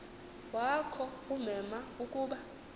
wakho ummema ukuba